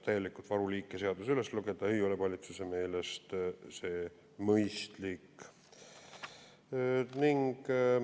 Täielikult varuliike seaduses üles lugeda ei ole valitsuse meelest mõistlik.